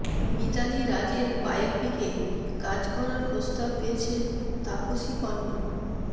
মিতালি রাজের বায়োপিকে কাজ করার প্রস্তাব পেয়েছেন তাপসী পান্নু